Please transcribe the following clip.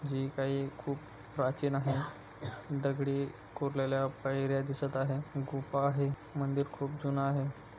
जे काही खुप प्राचीन आहे दगडी कोरलेल्या पायऱ्या दिसत आहेत गुफा आहे मंदिर खुप जून आहे.